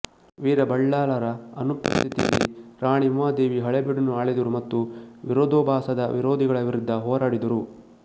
ವೀರ ಬಳ್ಳಾಲರ ಅನುಪಸ್ಥಿತಿಯಲ್ಲಿ ರಾಣಿ ಉಮಾದೇವಿ ಹಳೆಬೀಡನ್ನು ಆಳಿದರು ಮತ್ತು ವಿರೋಧಾಭಾಸದ ವಿರೋಧಿಗಳ ವಿರುದ್ಧ ಹೋರಾಡಿದರು